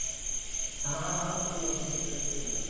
ਹਾਂ ਹਾਂ ਕੋਈ Tension ਨੀ ਇਕੱਠੇ ਚੱਲਾਂਗੇ ਅੱਪਾ